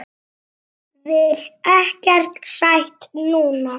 Vil ekkert sætt núna.